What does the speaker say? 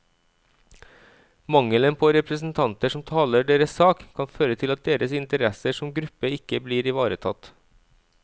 Mangelen på representanter som taler deres sak, kan føre til at deres interesser som gruppe ikke blir ivaretatt.